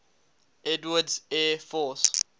edwards air force